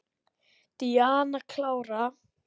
Díana klára.